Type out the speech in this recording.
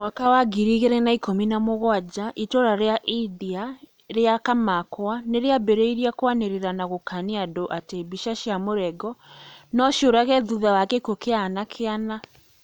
Mwaka wa ngiri igĩrĩ na ikũmi na mũgwanja itũra rĩa Ibdia rĩa kamakwa nirĩambĩrĩirie kwanĩrĩra na gũkania andũ atĩ mbica cia mũrengo no ciũrage thutha wa gĩkuũ kĩa anake ana